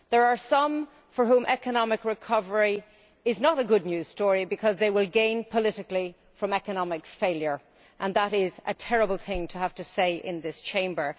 There are some for whom economic recovery is not a good news story because they will gain politically from economic failure and that is a terrible thing to have to say in this Chamber.